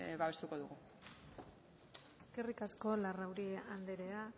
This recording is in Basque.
babestuko dugu eskerrik asko larrauri andrea